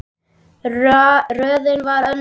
Raunin varð önnur.